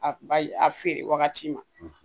A a feere wagati ma